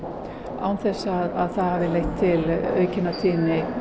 án þess að það hafi leitt til aukinnar tíðni